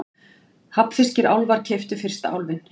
Hafnfirskir álfar keyptu fyrsta Álfinn